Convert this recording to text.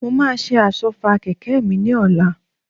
Mo máa ṣe Àsọ́fà kẹ̀kẹ́ mi ni ọ̀la